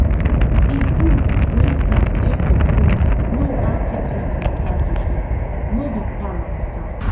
e goood when staff hep persin know how treatment matter da be no be para matter